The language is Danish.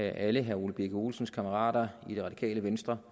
alle herre ole birk olesens kammerater i det radikale venstre